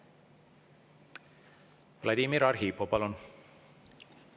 Vladimir Arhipov, palun!